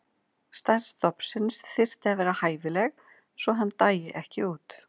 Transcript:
Stærð stofnsins þyrfti að vera hæfileg svo að hann dæi ekki út.